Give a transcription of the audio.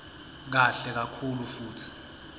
kahle kakhulu futsi